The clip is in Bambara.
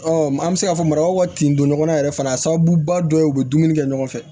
an bɛ se k'a fɔ marabagaw ka tin don ɲɔgɔn na yɛrɛ fana a sababuba dɔ ye u bɛ dumuni kɛ ɲɔgɔn fɛ